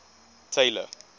tailor